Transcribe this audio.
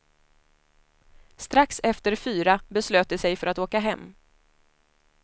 Strax efter fyra beslöt de sig för att åka hem.